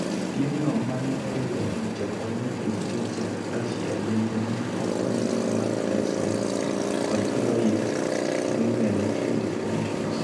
Piemno, ma ne oriwo ja Olimpik gi ja Russia, bende ne okony gi Mike Tyson kod Floyd Mayweather TMT Promotions.